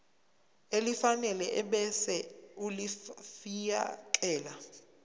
elifanele ebese ulifiakela